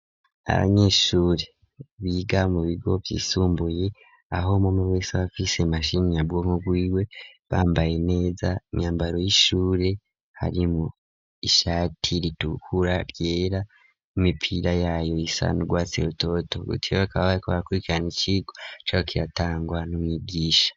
Abanyeshuri biga mu bigo vyisumbuye aho mome bese bafise mashini nyabwonko guiwe bambaye neza imyambaro y'ishure hari mu ishati ritukura byera mu mipira yayo isanu rgwaserototo gutiro bakaba bariko bakurikirana icigo caho kiratangwa nu mwigisha.